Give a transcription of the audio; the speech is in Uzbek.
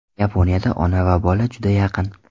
Yaponiyada ona va bola juda yaqin.